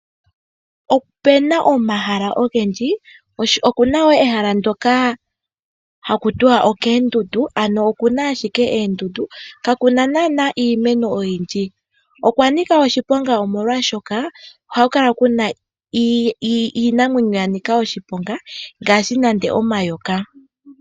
Opuna omahala ogendji, oku na wo ehala ndoka haku tiwa okoondundu ano oku na ashike oondundu, ka ku na naana iimeno oyindji. Okwa nika oshiponga omolwaashoka ohaku kala ku na iinamwenyo ya nika oshiponga ngaashi nande omayoka.